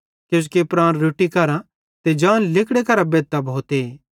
किजोकि प्राण रोट्टी करां ते जान लिगड़े करां बेधतां भोते